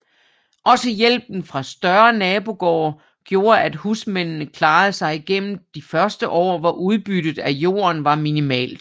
Også hjælpen fra større nabogårde gjorde at husmændene klarede sig igennem de førte år hvor udbyttet af jorden var minimalt